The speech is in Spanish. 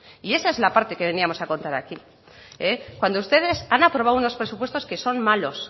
y esa es la parte que veníamos a contar aquí cuando ustedes han aprobado unos presupuestos que son malos